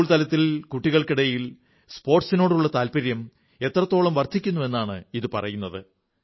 school തലത്തിൽ കുട്ടികൾക്കിടയിൽ സ്പോർട്സിനോടുള്ള താത്പര്യം എത്രത്തോളം വർധിക്കുന്നു എന്നാണ് ഇതു പറയുന്നത്